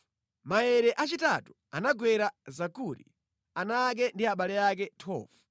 Maere achitatu anagwera Zakuri, ana ake ndi abale ake. 12